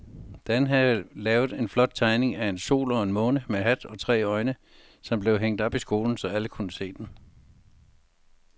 Dan havde lavet en flot tegning af en sol og en måne med hat og tre øjne, som blev hængt op i skolen, så alle kunne se den.